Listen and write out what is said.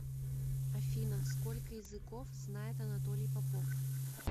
афина сколько языков знает анатолий попов